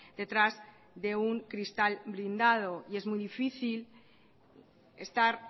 detrás de un cristal blindado y es muy difícil estar